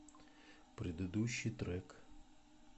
предыдущий трек